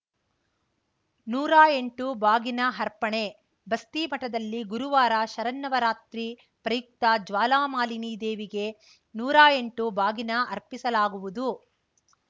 ನೂರಾ ಎಂಟು ಬಾಗಿನ ಅರ್ಪಣೆ ಬಸ್ತಿಮಠದಲ್ಲಿ ಗುರುವಾರ ಶರನ್ನವರಾತ್ರಿ ಪ್ರಯುಕ್ತ ಜ್ವಾಲಾಮಾಲಿನಿ ದೇವಿಗೆ ನೂರಾ ಎಂಟು ಬಾಗಿನ ಅರ್ಪಿಸಲಾಗುವುದು